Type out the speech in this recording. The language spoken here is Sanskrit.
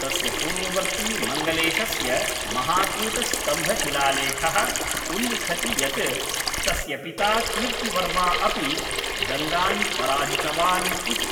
तस्य पूर्ववर्ती मङ्गलेशस्य महाकूटस्तम्भशिलालेखः उल्लिखति यत् तस्य पिता कीर्तिवर्मा अपि गङ्गान् पराजितवान् इति।